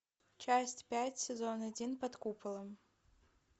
часть пять сезон один под куполом